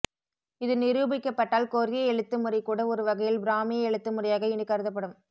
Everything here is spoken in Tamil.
இது நிரூபிக்கப்பட்டால் கொரிய எழுத்துமுறை கூட ஒரு வகையில் பிராமிய எழுத்துமுறையாக இனி கருதப்படும்